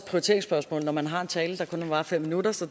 prioriteringsspørgsmål når man har en tale der kun må vare fem minutter så